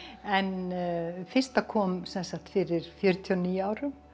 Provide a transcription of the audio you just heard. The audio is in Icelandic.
en fyrsta kom fyrir fjörutíu og níu árum